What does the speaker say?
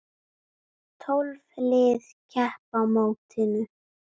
Tólf lið keppa á mótinu.